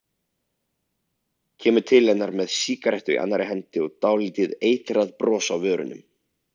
Kemur til hennar með sígarettu í annarri hendi og dálítið eitrað bros á vörunum.